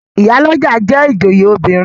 Ìyálọ́jà jẹ́ ìjòyè obìnrin.